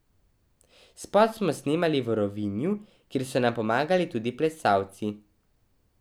Spot smo snemali v Rovinju, kjer so nam pomagali tudi plesalci.